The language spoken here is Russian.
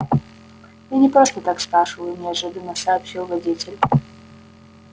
я не просто так спрашиваю неожиданно сообщил водитель